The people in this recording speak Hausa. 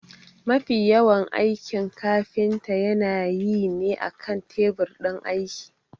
Mafi yawan aikin kafinta yana yi ne akan tebur ɗin aiki.